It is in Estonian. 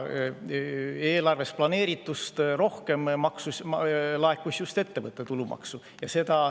Eelarves planeeritust rohkem laekus just ettevõtte tulumaksu.